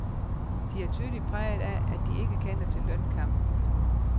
De er tydeligt prægede af, at de ikke kender til lønkamp.